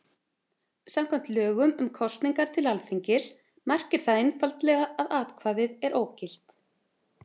Samkvæmt lögum um kosningar til Alþingis merkir það einfaldlega að atkvæðið er ógilt.